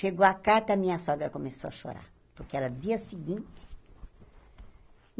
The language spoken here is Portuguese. Chegou a carta, a minha sogra começou a chorar, porque era dia seguinte.